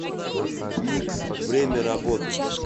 никс время работы